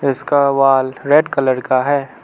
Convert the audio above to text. इसका wall red colour का है।